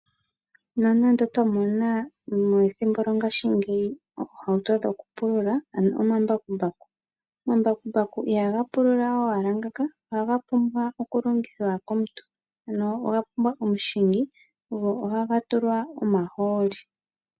Nonando twa mona methimbo lyongashingeyi iiyenditho yokupulula ano omambakumbaku, omambakumbaku ihaga pulula owala ngaaka ohaga pumbwa okulongithwa komuntu ano oga pumbwa omuhingi go ohaga tulwa omahooli.